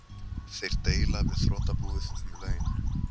Þeir deila við þrotabúið um laun